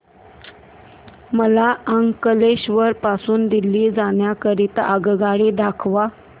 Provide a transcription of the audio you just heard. मला अंकलेश्वर पासून दिल्ली जाण्या करीता आगगाडी दाखवा